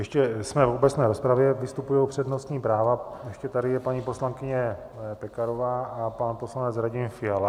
Ještě jsme v obecné rozpravě, vystupují přednostní práva, ještě tady je paní poslankyně Pekarová a pan poslanec Radim Fiala.